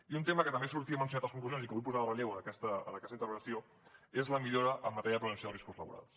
i un tema que també sortia mencionat a les conclusions i que vull posar en relleu en aquesta intervenció és la millora en matèria de prevenció de riscos laborals